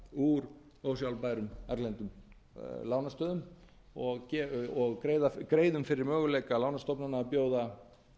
úr ósjálfbærum erlendum lánastöðum og greiðum fyrir möguleikum lánastofnana að bjóða